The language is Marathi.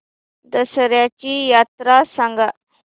दसर्याची यात्रा सांगा